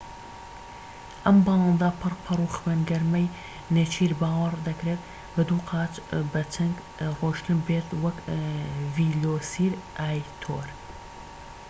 ئەم باڵندە پڕ پەڕ و خوێن گەرمەی نێچیر باوەڕ دەکرێت بە دوو قاچ بە چنگ ڕۆیشت بێت وەک ڤیلۆسیراپتۆر